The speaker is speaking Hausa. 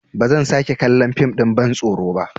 Ba zan sake kallon fim ɗin bantsoro ba.